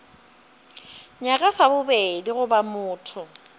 nyaka sa bobedi goba motho